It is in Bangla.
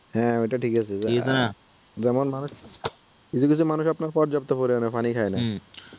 হ্যাঁ ঐটা ঠিক আছে, ঠিক নাহ যেমন মানুষ কিছু কিছু মানুষ পর্যাপ্ত পরিমাণে পানি খায় না,